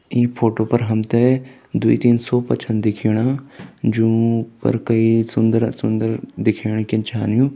इ फोटो पर हम्थे दुइ-तीन सोफा छन दिख्याणा जो ऊपर के सुन्दर-सुन्दर दिखयाणा के छै यूं।